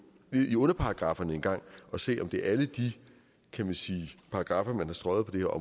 ned i underparagrafferne en gang og se om det er alle de paragraffer man har strøget på det her